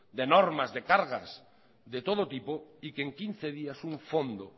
de normas de cargas de todo tipo y que en quince días un fondo